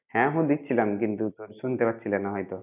হ্যাঁ হম দিচ্ছিছিলাম কিন্তু তোর শুনতে পাচ্ছিলে না হয়তো।